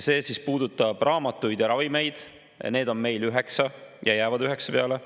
See puudutab raamatute ja ravimite, mis on meil 9% ja jääb 9% peale.